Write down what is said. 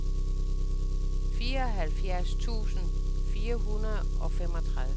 fireoghalvfjerds tusind fire hundrede og femogtredive